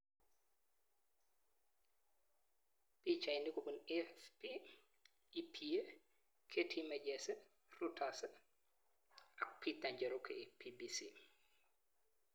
Pichainik kopun AFP, EPA, Getty Images, Reuters ak Peter Njoroge BBC